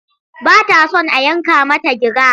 Ba ta son a yanka mata gira.